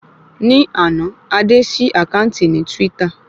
Ní àná, Adé ṣí àkáǹtì ní twítà